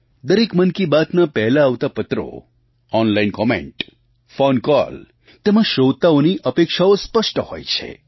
દરેક મન કી બાતના પહેલાં આવતા પત્રો ઑનલાઇન કૉમેન્ટ ફૉન કૉલ તેમાં શ્રોતાઓની અપેક્ષાઓ સ્પષ્ટ હોય છે